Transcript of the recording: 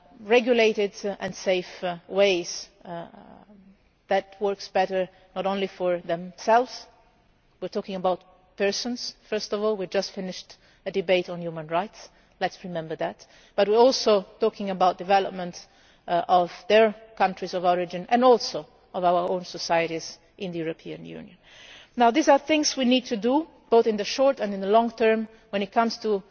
people have regulated and safe ways this works better not only for themselves we are talking about people first of all, we just finished a debate on human rights, let us remember that but we are also talking about the development of their countries of origin and also of our own societies in the European Union. Now these are things we need to do both in the short and in the long term when